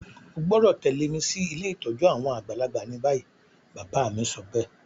O gbọ́dọ̀ tẹ̀lẹ́ mi si ilé ìtójú àwon àgbàlagbà ni bayi. Bàbá mi sobéè